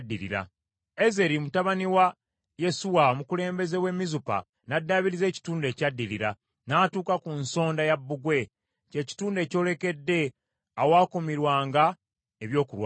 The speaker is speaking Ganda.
Ezeri mutabani wa Yesuwa, omukulembeze w’e Mizupa n’addaabiriza ekitundu ekyaddirira, n’atuuka ku nsonda ya bbugwe, kye kitundu ekyolekedde awaakumirwanga ebyokulwanyisa.